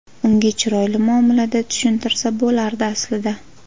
Unga chiroyli muomalada tushuntirsa bo‘lardi, aslida.